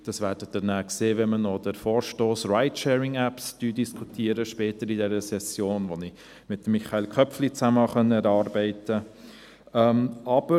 Das werden Sie sehen, wenn wir später in dieser Session noch den Vorstoss zu den Ride-Sharing-Apps diskutieren, den ich zusammen mit Michael Köpfli erarbeiten konnte.